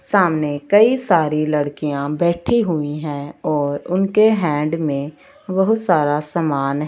सामने कई सारी लड़कियां बैठी हुई है और उनके हैंड में बहुत सारा सामान--